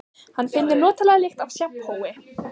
Hann finnur notalega lykt af sjampói.